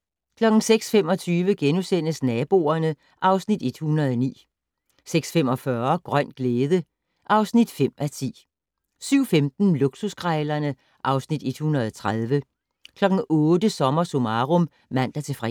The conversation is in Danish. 06:25: Naboerne (Afs. 109)* 06:45: Grøn glæde (5:10) 07:15: Luksuskrejlerne (Afs. 130) 08:00: SommerSummarum (man-fre)